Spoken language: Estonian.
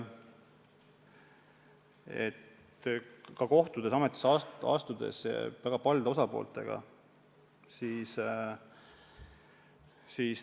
Olen pärast ametisse astumist kohtunud väga paljude osapooltega.